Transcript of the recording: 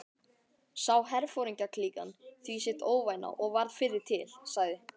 Sá herforingjaklíkan því sitt óvænna og varð fyrri til, sagði